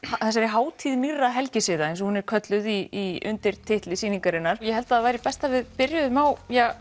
þessari hátíð nýrra helgisiða eins og hún er kölluð í undirtitli sýningarinnar ég held það væri best ef við byrjuðum á